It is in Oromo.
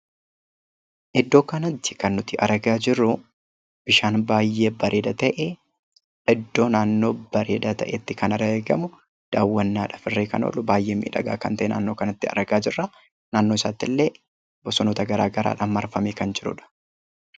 Iddoo kanatti kan nuti argaa jirru hara baay'ee bareeda ta'e iddoo naannoo bareedaa ta'etti kan argamu daawwannaadhaaf illee kan oolu baay'ee miidhagaa kan ta'e naannoo kanatti argaa jirra. Bosonaanis marfamee kan jirudha.